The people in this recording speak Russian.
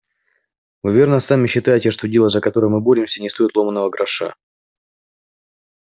вы верно сами считаете что дело за которое мы боремся не стоит ломаного гроша